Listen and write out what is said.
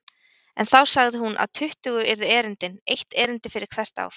En þá sagði hún að tuttugu yrðu erindin, eitt erindi fyrir hvert ár.